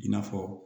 I n'a fɔ